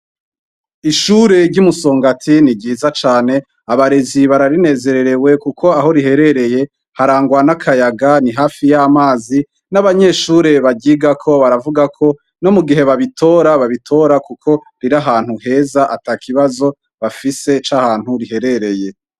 Ishure ryi Musongati niryiza cane , abarezi bararinezererewe kuko aho riherereye harangwa nakayaga ni hafi yamazi nabanyeshure baryiga ko baravuga ko no mugihe babitora riri ahantu heza atakibazo bafise cahantu riherereye.